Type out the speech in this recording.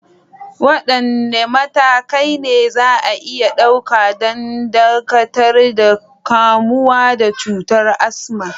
Wadanne matakai ne za a iya ɗauka don dakatar da kamuwa da cutar asma?